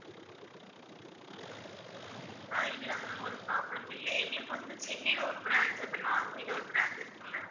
ஆஹ் இல்ல ma'am ஒரு problem மும் இல்லை, இல்லை எங்களுக்கு வந்து சென்னையில ஒரு branch இப்ப ஒரு branch இருக்கு ma'am